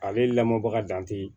Ale lamɔbaga dan tɛ